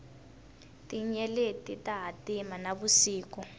tinyeleti ta hatima na vusiku